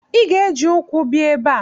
Ị ga-eji ukwu bia ebe a!